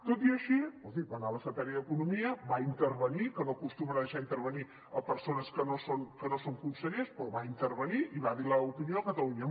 tot i així hi va anar la secretària d’economia va intervenir que no acostumen a deixar intervenir persones que no són consellers però va intervenir i va dir l’opinió de catalunya